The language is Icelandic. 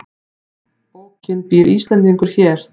Bókin Býr Íslendingur hér?